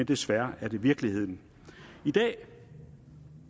desværre virkeligheden i dag